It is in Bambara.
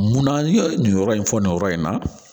Munna n ye nin yɔrɔ in fɔ nin yɔrɔ in na